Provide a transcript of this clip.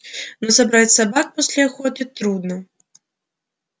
но собрать собак после охоты трудно